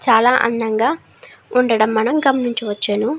చాలా అందంగా ఉండడం మనం గమనించవచ్చును.